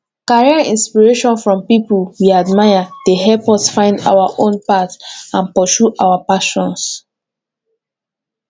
career inspiration from people we admire dey help us find our own path and pursue our passions